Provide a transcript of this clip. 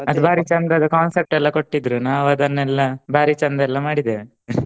ಅದು ಭಾರಿ ಚಂದದು concept ಎಲ್ಲಾ ಕೊಟ್ಟಿದ್ರು ನಾವ್ ಅದನೆಲ್ಲಾ ಭಾರಿ ಚಂದ ಎಲ್ಲ ಮಾಡಿದೇವೆ